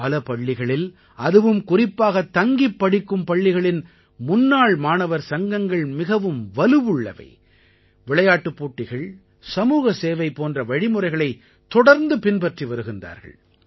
பல பள்ளிகளில் அதுவும் குறிப்பாக தங்கிப் படிக்கும் பள்ளிகளின் முன்னாள் மாணவர் சங்கங்கள் மிகவும் வலுவுள்ளவை விளையாட்டுப் போட்டிகள் சமூகசேவை போன்ற வழிமுறைகளை தொடர்ந்து பின்பற்றி வருகின்றார்கள்